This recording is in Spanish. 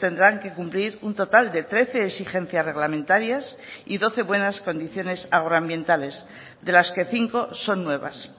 tendrán que cumplir un total de trece exigencias reglamentarias y doce buenas condiciones agroambientales de las que cinco son nuevas